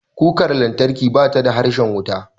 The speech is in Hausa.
Kukar lantarki bata da harshen wuta.